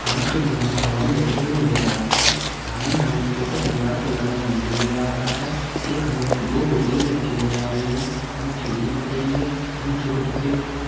हमे कुछ गमले हवा में लटके हुए नजर आ रहे हैं सामने हमें एक छोटा सा दीवार पर लगा हुआ मंदिर भी नजर आ रहा है एक हमें एक दो कुर्सियां भी रखी हुई नजर रही है हमें खिड़की दिख रही है हमें छोटे छोटे --